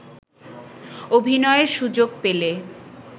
অভিনয়ের সুযোগ পেলে